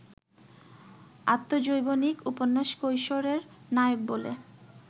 আত্মজৈবনিক উপন্যাস কৈশোর-এর নায়ক বলে